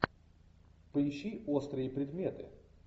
поищи острые предметы